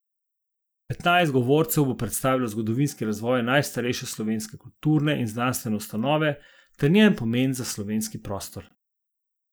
Petnajst govorcev bo predstavilo zgodovinski razvoj najstarejše slovenske kulturne in znanstvene ustanove ter njen pomen za slovenski prostor.